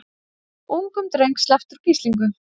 Ungum dreng sleppt úr gíslingu